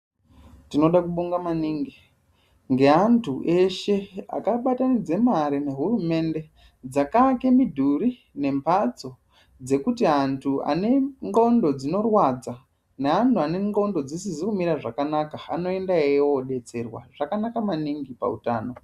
Tinode kubonga maningi ngeantu eshe akabatanidze mare nehurumende dzakaake midhuri nemhatsodzekuti antu ane ndxondo dzinorwadza neantu ane ndxondo dzisizi kumira zvakanaka anoendayowo detserwa zvakanaka maningi pautano.